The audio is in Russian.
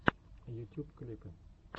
ютюб клипы